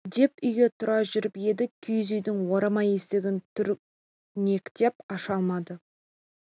деп үйге тұра жүріп еді киіз үйдің орама есігін түртінектеп аша алмады